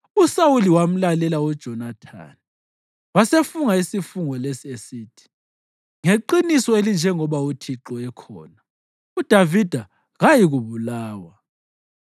USawuli wamlalela uJonathani wasefunga isifungo lesi esithi, “Ngeqiniso elinjengoba uThixo ekhona, uDavida kayikubulawa.”